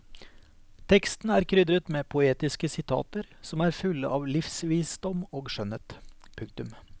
Teksten er krydret med poetiske sitater som er fulle av livsvisdom og skjønnhet. punktum